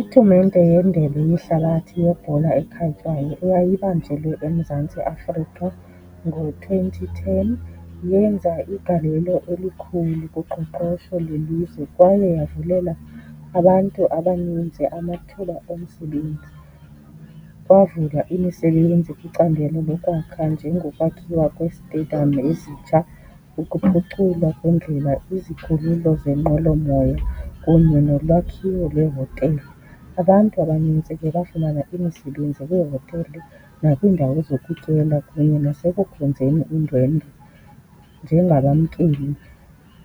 Itumente yeNdebe yeHlabathi yeBhola eKhatywayo eyayibanjelwe eMzantsi Afrika ngo-twenty ten yenza igalelo elikhulu kuqoqosho lwelizwe kwaye yavulela abantu abaninzi amathuba omsebenzi. Kwavela imisebenzi kwicandelo lokwakha njengokwakhiwa kwezitediyam ezitsha, ukuphuculwa kweendlela, izikhululo zenqwelomoya kunye nolwakhiwo lweehotele. Abantu abanintsi ke bafumana imisebenzi kwiihotele nakwiindawo zokutyela kunye nasekukhonzeni iindwendwe njengabamkeli,